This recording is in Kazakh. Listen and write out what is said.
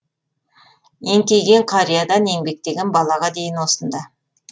еңкейген қариядан еңбектеген балаға дейін осында